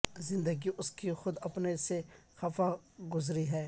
زندگی اس کی خود اپنے سے خفا گذری ہے